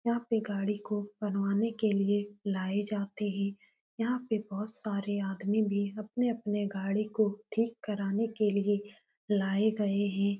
यहाँ पे गाड़ी को बनवाने के लिए लाए जाते हैं। यहाँ पे बहोत सारे आदमी भी अपने-अपने गाड़ी को ठीक कराने के लिए लाए गए हैं।